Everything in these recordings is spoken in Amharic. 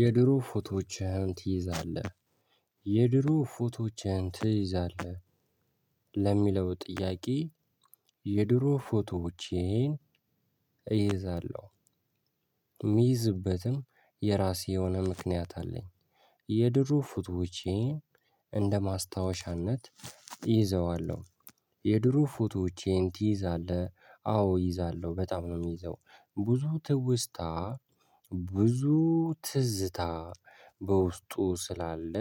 የድሮ ፎቶዎችህን ትይዛለህ የድሮ ፎቶዎችህን ትይዛለህ? ለሚለው ጥያቄ? የድሮ ፎቶዎቼን እይዛለሁ። ሚይዝበትም የራሴ የሆነ ምክንያት አለኝ። የድሮ ፎቶወቼ እንደማስታወሻነት እይዘዋለሁ። የድሮ ፎቶወቼን ትይዛለህ? አዎ እይዛለሁ በጣም ነው ሚይዘው። ብዙ ትውስታ ብዙ ትዝታ በውስጡ ስላለ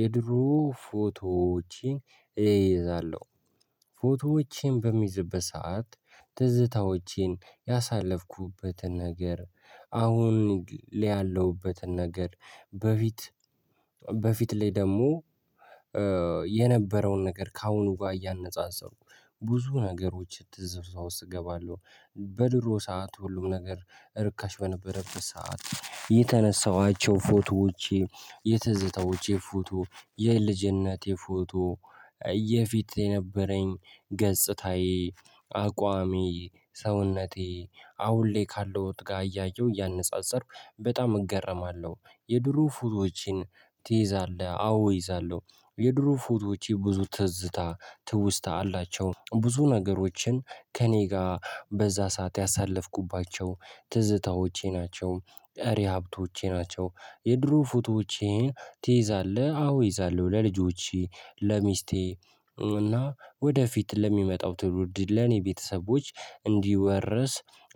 የድሮ ፎቶዎችን እይዛለሁ። ፎቶዎቼን በምይዝበት ሰዓት ትዝታዎቼን ያሳለፍኩበትን ነገር አሁን ላይ ያለውበትን ነገር በፊት በፊት ላይ ደሞ የነበረውን ነገር ከአሁኑ ጋ እያነጻጸርኩ ብዙ ነገሮች ትዝታ ውስጥ እገባለሁ። በድሮ ሰዓት ሁሉም ነገር እርካሽ በነበረበት ሰዓት የተነሳኋቸው ፎቶወቼ የትዝታዎች ፎቶ የልጅነቴ ፎቶ። እየፊት የነበረኝ ገጽታዬ አቋሜ ሰውነቴ አሁን ላይ ካለሁት ጋ እያየሁ እያነጻጸርኩ በጣም እገረማለሁ። የድሮ ፎቶወችን ትይዛለህ? አዎ እይዛለሁ። የድሮ ፎቶወቼ ብዙ ትዝታ ትውስታ አላቸው። ብዙ ነገሮችን ከእኔ ጋ በዛ ሰዓት ያሳለፍኩባቸው ትዝታዎቼ ናቸው ቀሪ ሀብቶቼ ናቸው። የድሮ ፉቶቼን ትይዛለህ? አዎ እይዛለሁ ለልጆቼ ለሚስቴ እና ወደፊት ለሚመጣው ትውልድ ለኔ ቤተሰቦች እንዲወረስ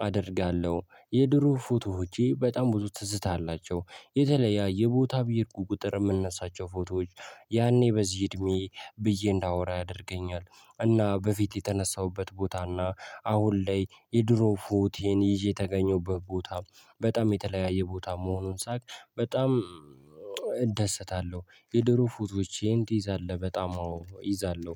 አደርጋለሁ። የድሮ ፎቶወቼ በጣም ብዙ ትዝታ አላቸው። የተለያየ ቦታ በሄድኩ ቁጥር ምነሳቸው ፎቶዎች ያኔ በዚህ እድሜየ ብዬ እንዳወራ ያደርገኛል። እና በፊት የተነሳሁበት ቦታና አሁን ላይ የድሮ ፎቴን ይዤ የተገኘሁበት ቦታ በጣም የተለያየ ቦታ መሆኑን ሳቅ። በጣም እደሰታለሁ። የድሮ ፉቶወቼን ትይዛለህ? በጣም አወ እይዛለሁ።